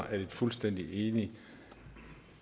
at et fuldstændig enigt